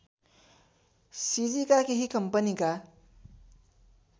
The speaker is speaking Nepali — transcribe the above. सिजीका केही कम्पनीका